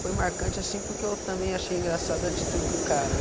Foi marcante assim, porque eu também achei engraçado a atitude do cara, né.